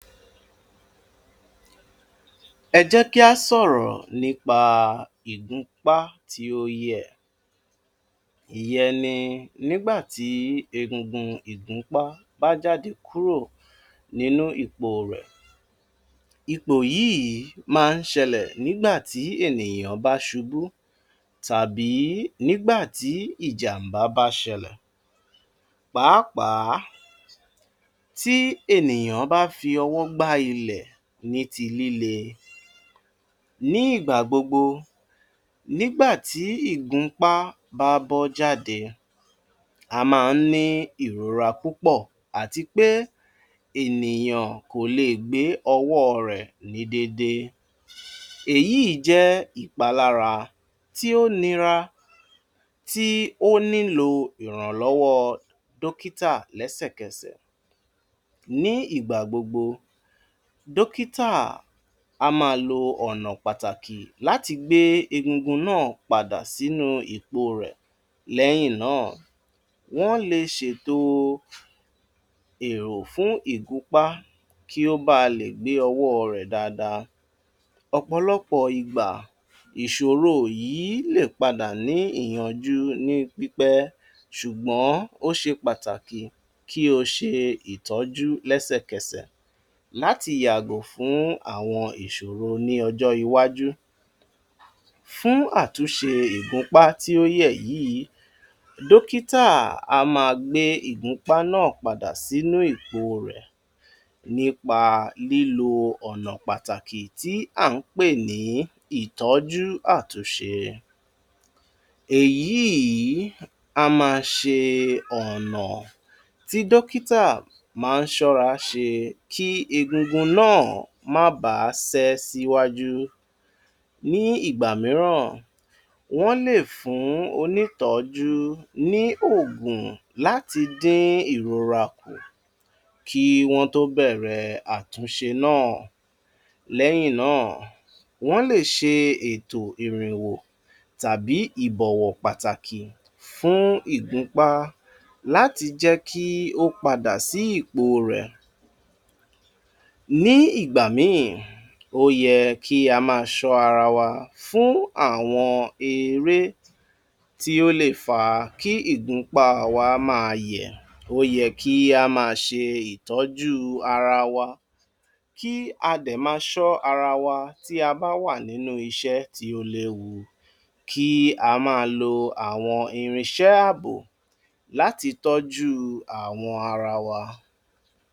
Ẹ jẹ́ kí a sọ̀rọ̀ nípa ìgúnúpá tí ó yẹ. Ìyẹnì nígbà tí ẹ̀gúngún ìgúnúpá bá jáde kúrò nínú ipò rẹ̀. Ipò yìí máa ń ṣẹlẹ̀ nígbà tí ènìyàn bá ṣubú tàbí nígbà tí ìjàǹbá bá ṣẹlẹ̀, pàápàá tí ènìyàn bá fi ọwọ́ gba ilẹ̀ ní ti lílẹ̀. Ní ìgbà gbogbo, nígbà tí ìgúnúpá bá bọ́ jáde, a máa ń ní ìròrá púpọ̀ àti pé ènìyàn kò lè gbé ọwọ́ rẹ̀ ní déédéé. Èyí jẹ́ ìpalára tí ó nira, tí ó nílò ìránlọ́wọ́ dókítà lẹ́sẹ̀kẹsẹ̀. Ní ìgbà gbogbo, Dókítà a máa lo ọ̀nà pàtàkì láti gbé ẹ̀gúngún náà padà sínú ipò rẹ̀. Lẹ́yìn náà, wọ́n lè ṣètò èrò fún ìgúnúpá kí ó bà lè gbé ọwọ́ rẹ̀ dáadáa. Ọ̀pọ̀lọpọ̀ ìgbà, ìṣòro yìí lè padà ní ìyànjú nípípẹ̀, ṣùgbọ́n ó ṣe pàtàkì kí o ṣe ìtọ́jú lẹ́sẹ̀kẹsẹ̀ láti yàgò fún àwọn ìṣòro ní ọjọ́ iwájú. Fún àtúnṣe ìgúnúpá tí ó yẹ yìí, dókítà a máa gbé ìgúnúpá náà padà sínú ipò rẹ̀ nípa lílo ọ̀nà pàtàkì tí a ń pè ní ìtọ́jú àtúnṣe. Èyí a máa ń ṣeéṣe ọ̀nà tí dókítà máa ń ṣọ́ra ṣe kí ẹ̀gúngún náà má bà ṣe síwájú. Ní ìgbà míràn, wọ́n lè fún onítọ́jú ní òǹgùn láti dín ìròrá kù kí wọ́n tó bẹ̀rẹ̀ àtúnṣe náà. Lẹ́yìn náà, wọ́n lè ṣe ètò irinwò tàbí ìbọ̀wọ̀ pàtàkì fún ìgúnúpá láti jẹ́ kí ó padà sí ipò rẹ̀. Ní ìgbà mìíràn, ó yẹ kí a máa ṣọ́ ara wa fún àwọn eré tí ó lè fà á kí ìgúnúpá wa máa yẹ. Ó yẹ kí a máa ṣe ìtọ́jú ara wa, kí a dẹ̀ má ṣọ́ ara wa tí a bá wà nínú iṣẹ́ tí ó le wù, kí a máa lo àwọn irinṣẹ́ ààbò láti tọ́jú àwọn ara wa.